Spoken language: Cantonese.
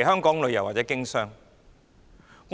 來香港旅遊或經商。